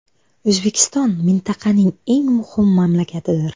O‘zbekiston mintaqaning eng muhim mamlakatidir.